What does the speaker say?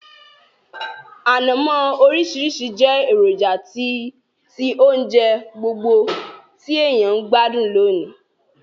Ànamó orísìrísi je èròjà ti ounje gbogbo ti èyàn n gbádùn lónìí